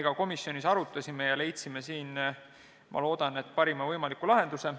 Ka komisjonis me arutasime seda ja leidsime siin, ma loodan, parima võimaliku lahenduse.